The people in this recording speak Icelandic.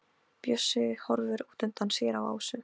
Bjössi horfir útundan sér á Ásu.